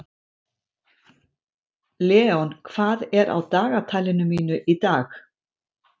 Leon, hvað er á dagatalinu mínu í dag?